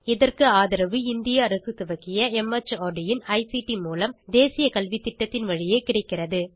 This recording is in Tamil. இதற்கு ஆதரவு இந்திய அரசு துவக்கிய மார்ட் இன் ஐசிடி மூலம் தேசிய கல்வித்திட்டத்தின் வழியே கிடைக்கிறது